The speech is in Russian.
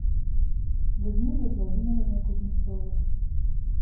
людмилой владимировной кузнецовой